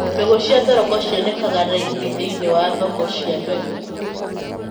Mbegũ cia thoroko cionekanaga raithi thĩiniĩ wa thoko cia mbegũ.